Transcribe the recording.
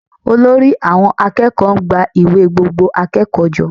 Olórí àwọn akẹ́kọ̀ọ́ ń gba ìwé gbogbo akẹ́kọ̀ọ́ jọ